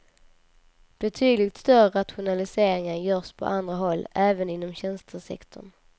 Betydligt större rationaliseringar görs på andra håll, även inom tjänstesektorn.